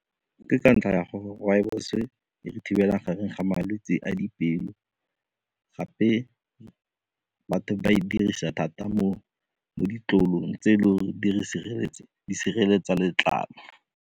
Ke ka ntlha ya gore rooibos e re thibela gareng ga malwetse a dipelo gape batho ba e dirisa thata mo ditlolong tse e leng gore di sireletsa letlalo.